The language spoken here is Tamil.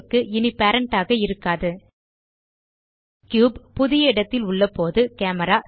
கியூப் க்கு இனி பேரண்ட் ஆக இருக்காது கியூப் புதிய இடத்தில் உள்ள போது கேமரா